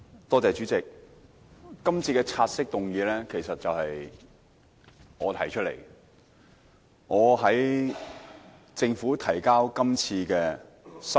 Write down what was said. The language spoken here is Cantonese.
代理主席，今次的察悉議案其實是我建議提出的。